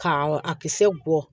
Ka a kisɛ bɔ